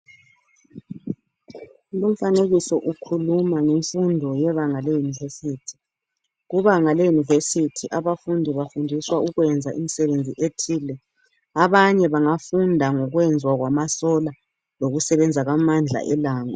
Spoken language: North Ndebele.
Lumfanekiso ukhuluma ngemfundo yebanga leyunivesithi. Kubanga leyunivesithi abafundi bafundiswa ukwenza imisebenzi ethile. Abanye bangafunda ngokwenzwa kwamasola lokusebenza kwamandla elanga.